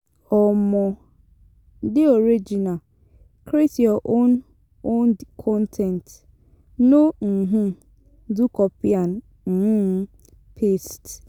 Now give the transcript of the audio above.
um De original create your own own con ten t no um do copy and um paste